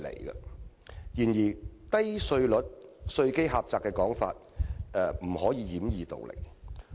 然而，稅率低、稅基窄的說法卻只是掩耳盜鈴。